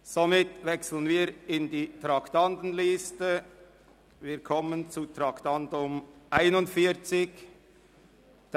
Somit wechseln wir zur Traktandenliste und kommen zum Traktandum 41: